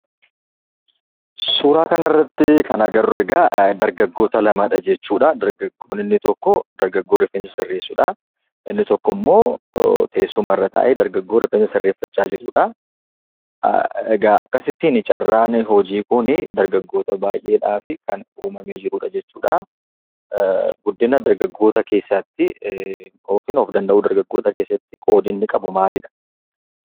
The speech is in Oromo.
Suuraa kanarratti kan arginu egaa, dargaggoota lamadha jechuudha. Dargaggoo inni tokko, dargaggoo rifeensa sirreessuUdha. dargaggoo inni tokko immoo, teessumarra taa'ee rifeensa sirreeffachaa jiruudha. Akkasittiin carraan hojii kun dargaggoota baay'eedhaf kan uumamee jirudha. Guddina dargaggootaa keessatti qoodni inni qabu maalidha?